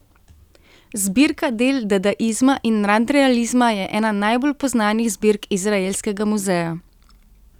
Zbirka del dadaizma in nadrealizma je ena najbolj poznanih zbirk Izraelskega muzeja.